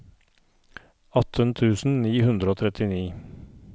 atten tusen ni hundre og trettini